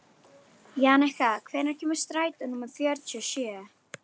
Jannika, hvenær kemur strætó númer fjörutíu og sjö?